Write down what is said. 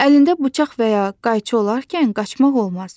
Əlində bıçaq və ya qayçı olarkən qaçmaq olmaz.